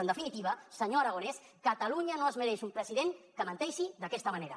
en definitiva senyor aragonès catalunya no es mereix un president que menteixi d’aquesta manera